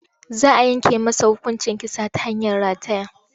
Za a yanke masa hukuncin kisa ta hanyar rataya.